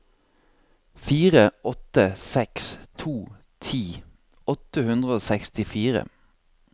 fire åtte seks to ti åtte hundre og sekstifire